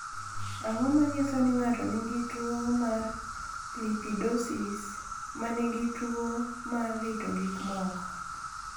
Ang’o ma nyiso ni ng’ato nigi tuwo mar Lipidosis ma nigi tuwo mar rito gik moko?